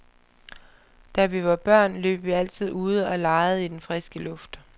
Da vi var børn, løb vi altid ude og legede i den friske luft.